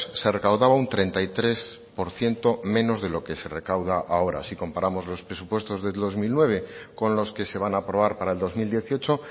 se recaudaba un treinta y tres por ciento menos de lo que se recauda ahora si comparamos los presupuestos del dos mil nueve con los que se van a aprobar para el dos mil dieciocho